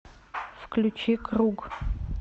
включи круг